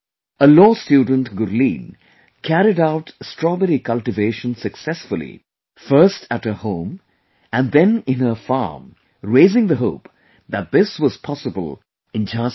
A Law student Gurleen carried out Strawberry cultivation successfully first at her home and then in her farm raising the hope that this was possible in Jhansi too